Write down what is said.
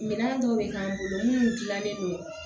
Minɛn dɔ bɛ k'an bolo minnu dilannen don